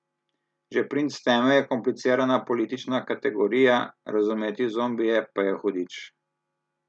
Že princ teme je komplicirana politična kategorija, razumeti zombije pa je hudič.